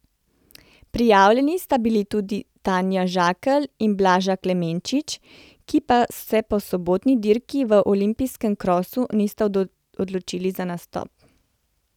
Prijavljeni sta bili tudi Tanja Žakelj in Blaža Klemenčič, ki pa se po sobotni dirki v olimpijskem krosu nista odločili za nastop.